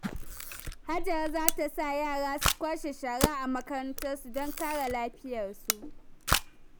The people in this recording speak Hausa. Hajara za ta sa yara su kwashe shara a makarantarsu don kare lafiyar su.